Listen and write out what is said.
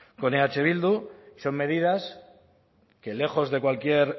con eh bildu son medidas que lejos de cualquier